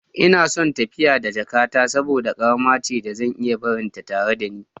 Ina son tafiya da jakata saboda ƙarama ce da zan iya barinta tare da ni.